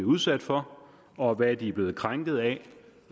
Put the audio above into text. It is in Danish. udsat for og hvad de er blevet krænket af